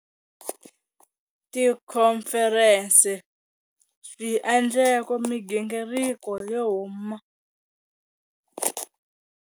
Tikhomferense, swi endleko migingiriko yo huma.